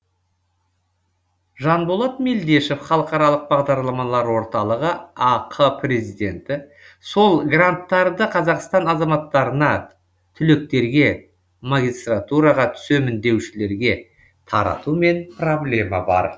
жанболат мелдешов халықаралық бағдарламалар орталығы ақ президенті сол гранттарды қазақстан азаматтарына түлектерге магистратураға түсемін деушілерге таратумен проблема бар